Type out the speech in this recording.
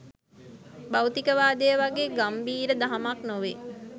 භෞතිකවාදය වගේ ගම්භීර දහමක් නොවේ